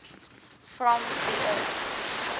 from the earth